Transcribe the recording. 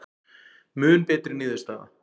Mun betri niðurstaða